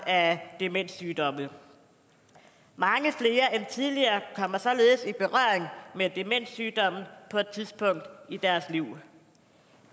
af demenssygdomme mange flere end tidligere kommer således i berøring med demenssygdommen på et tidspunkt i deres liv